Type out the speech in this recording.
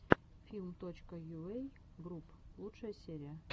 филм точка йуэй групп лучшая серия